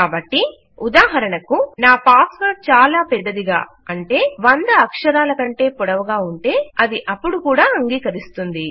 కాబట్టి ఉదాహరణకు ుంది